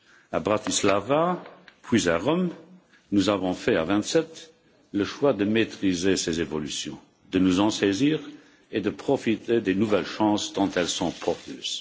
À Bratislava, puis à Rome, nous avons fait à vingt sept le choix de maîtriser ces évolutions, de nous en saisir et de profiter des nouvelles chances, tant elles sont porteuses.